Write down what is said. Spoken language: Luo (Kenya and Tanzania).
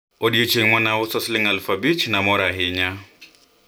siku yenye niliuza shilingi elfu tano nilifurahi sana